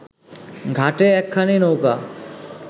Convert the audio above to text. ঘাটে একখানি নৌকা